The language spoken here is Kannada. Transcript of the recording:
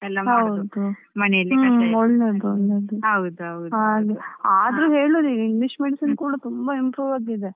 ಆದ್ರೂ ಹೇಳುದು ಈಗ English medicine ಕೂಡ ತುಂಬಾ improve ಆಗಿದೆ.